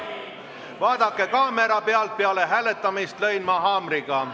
Vaadake kaamera pildilt, peale hääletamist lõin ma haamriga.